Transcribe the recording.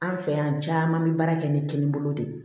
An fɛ yan caman bɛ baara kɛ ni kini bolo de